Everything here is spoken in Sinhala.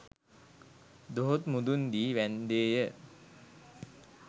දොහොත් මුදුන් දී වැන්දේය.